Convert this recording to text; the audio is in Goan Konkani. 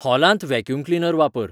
हॉलांत व्हॅक्यूम क्लीनर वापर